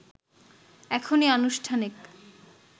এখনই আনুষ্ঠানিক